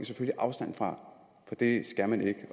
selvfølgelig afstand fra for det skal man ikke